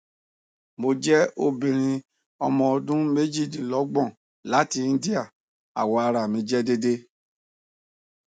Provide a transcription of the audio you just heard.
mo jẹ obinrin ọmọ ọdun mejidinlogbon lati india awọ ara mi jẹ deede